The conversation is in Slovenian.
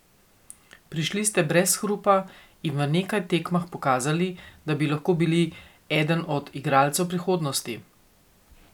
Prišli ste brez hrupa in v nekaj tekmah pokazali, da bi lahko bili eden od igralcev prihodnosti.